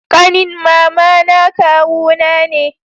ƙanin mama na kawu na ne